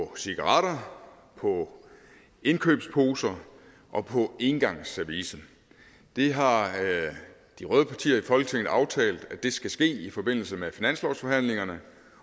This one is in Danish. på cigaretter på indkøbsposer og på engangsservice det har de røde partier i folketinget aftalt skal ske i forbindelse med finanslovsforhandlingerne